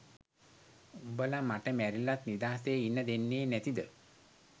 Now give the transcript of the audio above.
උඹල මට මැරිලත් නිදහසේ ඉන්න දෙන්නේ නැතිද?